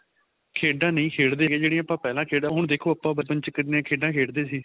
ਖੇਡਾ ਨਹੀਂ ਖੇਡਦੇ ਹੈਗੇ ਜਿਹੜੀ ਆਪਾਂ ਪਹਿਲਾਂ ਖੇਡਦੇ ਹੁਣ ਦੇਖੋ ਆਪਾਂ ਬਚਪਨ ਚ ਕਿੰਨੇ ਖੇਡਾ ਖੇਡਦੇ ਸੀ